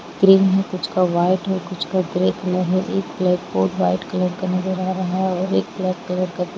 green है कुछ का वाइट है कुछ का ग्रे कलर है एक ब्लैक बोर्ड वाइट कलर का दिखाई दे रहा है और एक ब्लैक कलर का--